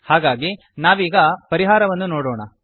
ಹಾಗಾಗಿ ನಾವೀಗ ಪರಿಹಾರವನ್ನು ನೋಡೋಣ